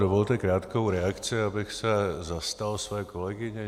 Dovolte krátkou reakci, abych se zastal své kolegyně.